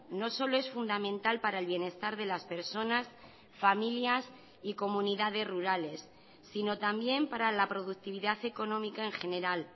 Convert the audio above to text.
no solo es fundamental para el bienestar de las personas familias y comunidades rurales sino también para la productividad económica en general